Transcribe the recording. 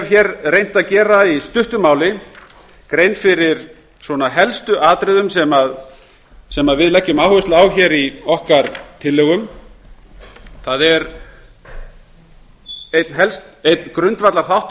máli reynt að gera grein fyrir helstu atriðum sem við leggjum áherslu á í tillögum okkar það er einn grundvallarþáttur